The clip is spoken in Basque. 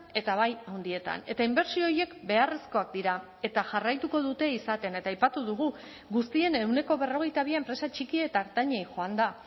eta bai handietan eta inbertsio horiek beharrezkoak dira eta jarraituko dute izaten eta aipatu dugu guztien ehuneko berrogeita bi enpresa txiki eta ertainei joan da